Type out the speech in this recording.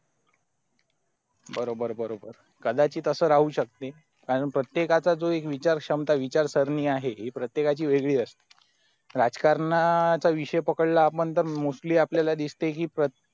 बरोबर बरोबर कंदाची तसा राहू शकते कारण प्रतयक्चा जे विचार क्षमता विचार शिणी आहे ती प्रतयकची वेगरी असते राजकरांना चा विषय पकडला तर mostly आपलेला दिसते कि